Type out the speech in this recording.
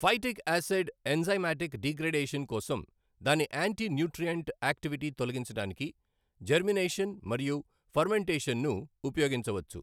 Phytic acid enzymatic degradation కోసం దాని anti nutrient activity తొలగించడానికి జెర్మీనేషన్ మరియు ఫర్మెంటేషన్ ను ఉపయోగించవచ్చు.